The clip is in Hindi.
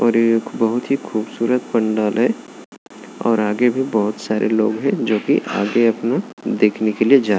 और एक बहुत ही खूब सूरत पंडाल है और आगे भी बहुत सारे लोग है ज्योंकि आगे अपना देखने के लिए जा --